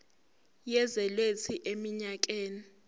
yezwe lethu eminyakeni